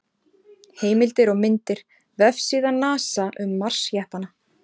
Heimildir og myndir: Vefsíða NASA um Mars-jeppana.